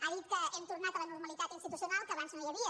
ha dit que hem tornat a la normalitat institucional que abans no hi havia